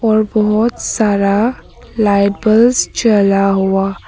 और बहोत सारा लाइट बल्ब्स जला हुआ--